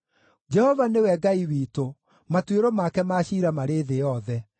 Jehova nĩwe Ngai witũ; matuĩro make ma ciira marĩ thĩ yothe.